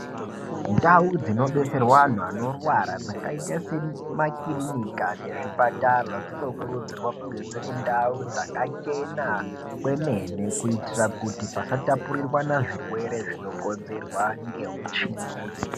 Ndau dzinobetserwa anhu anorwara dzakaita semakirinika nezvipatara, dzinokurudzirwa kunge dziri ndau dzakachena kwemene kuitira kuti pasatapurirwana zvirwere zvinokonzerwa ngeutsvina.